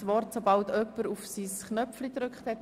Ich gebe Grossrat Näf das Wort.